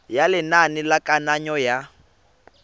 ya lenane la kananyo ya